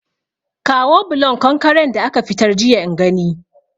Kawo bulon konkaren da aka fitar jiya in gani